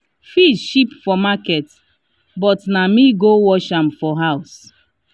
fish cheap for market but na me go wash am for house.